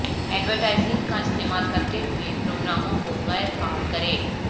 advertising کا استعمال کرتے ہوئے پروگراموں کو غیر فعال کریں